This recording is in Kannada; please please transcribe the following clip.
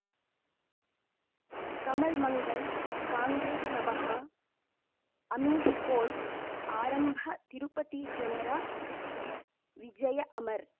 ಕಮಲ್ ಮಂಗಳ್ ಕಾಂಗ್ರೆಸ್ ನಮಃ ಅಮಿಷ್ ಕೋರ್ಟ್ ಆರಂಭ ತಿರುಪತಿ ಜನರ ಬಿ ವಿಜಯ ಅಮರ್